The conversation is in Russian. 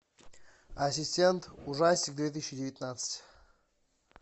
ассистент ужастик две тысячи девятнадцать